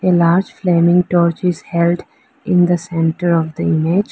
a large flaming torch is held in the centre of the image.